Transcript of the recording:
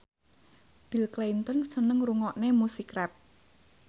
Bill Clinton seneng ngrungokne musik rap